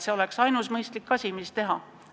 See oleks ainus mõistlik otsus, mis langetada.